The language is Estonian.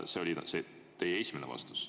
See oli teie esimene vastus.